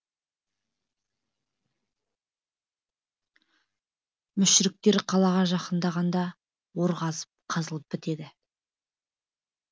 мүшріктер қалаға жақындағанда ор қазылып бітеді